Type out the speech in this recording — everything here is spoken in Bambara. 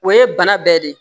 O ye bana bɛɛ de ye